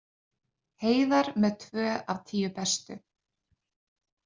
Heiðar með tvö af tíu bestu